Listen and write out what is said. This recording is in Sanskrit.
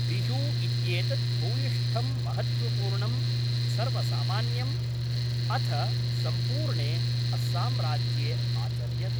बिहू इत्येतद् भूयिष्ठं महत्त्वपूर्णं सर्वसामान्यम् अथ सम्पूर्णे अस्साम्राज्ये आचर्यते।